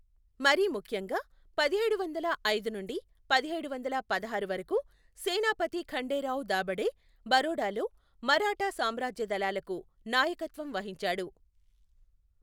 మరీ ముఖ్యంగా పదిహేడు వందల ఐదు నుండి పదిహేడు వందల పదహారు వరకు సేనాపతి ఖండేరావు దాభడే బరోడాలో మరాఠా సామ్రాజ్య దళాలకు నాయకత్వం వహించాడు.